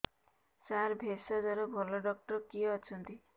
ସାର ଭେଷଜର ଭଲ ଡକ୍ଟର କିଏ ଅଛନ୍ତି